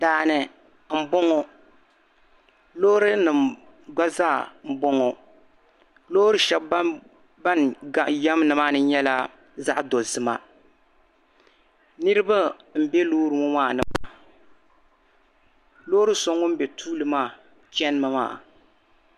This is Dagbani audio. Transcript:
Daa ni m-bɔŋɔ loorinima gba zaa m-bɔŋɔ loori shɛŋa din yam nimaani nyɛla zaɣ' dɔzima niriba m-be loori ŋɔ maani maa loori so ŋun be tooni maa chanimi maa